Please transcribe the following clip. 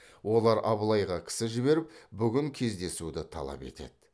олар абылайға кісі жіберіп бүгін кездесуді талап етеді